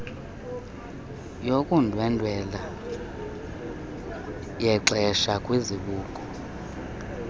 yokundwendwela yexeshana kwizibuko